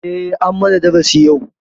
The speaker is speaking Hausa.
Eh an mana darasu yau.